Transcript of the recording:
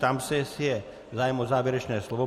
Ptám se, jestli je zájem o závěrečné slovo.